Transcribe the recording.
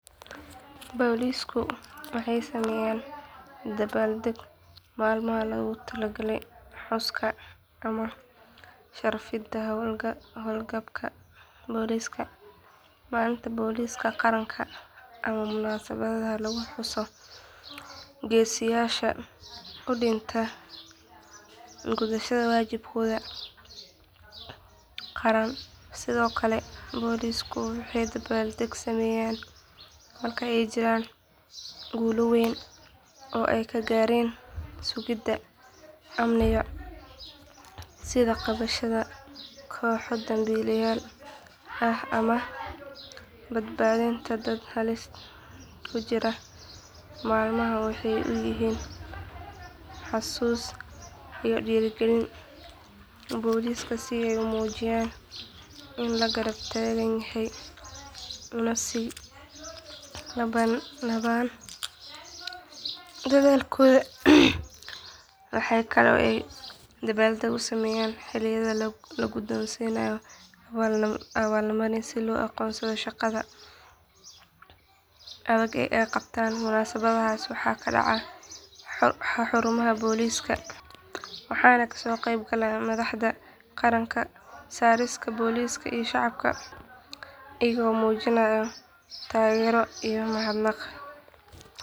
Boolisku waxay sameeyaan dabaaldeg maalmaha loogu talagalay xuska ama sharfidda hawlgabka booliska maalinta booliska qaranka ama munaasabadaha lagu xuso geesiyaasha u dhintay gudashada waajibaadka qaran sidoo kale boolisku waxay dabaaldeg sameeyaan marka ay jiraan guulo weyn oo ay ka gaareen sugidda amniga sida qabashada kooxo dambiileyaal ah ama badbaadinta dad halis ku jiray maalmahan waxay u yihiin xusuus iyo dhiirrigelin booliska si ay u muujiyaan in la garab taagan yahay una sii labanlaabaan dadaalkooda waxaa kale oo ay dabaaldeg sameeyaan xilliyada la guddoonsiiyo abaalmarinno si loo aqoonsado shaqada adag ee ay qabtaan munaasabadahaas waxay ka dhacaan xarumaha booliska waxaana kasoo qayb gala madaxda qaranka saraakiisha booliska iyo shacabka iyagoo muujinaya taageero iyo mahadnaq.